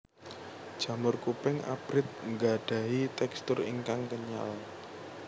Jamur kuping abrit nggadhahi tekstur ingkang kenyal